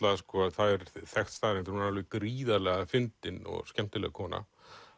það er þekkt staðreynd að hún er gríðarlega fyndin og skemmtileg kona